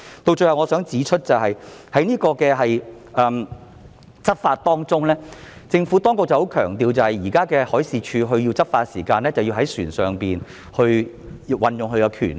最後，我想指出的是在執法方面，政府十分強調海事處現在若要執法，便須在船上運用權力。